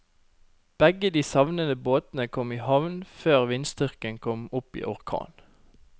Begge de savnede båtene kom i havn før vindstyrken kom opp i orkan.